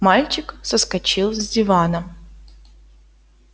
мальчик соскочил с дивана